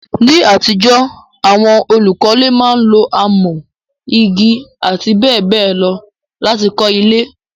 Ní àtijọ́, àwon olùkọ́le máa n lo amọ́, igi àti béèbéè lo láti kó ilé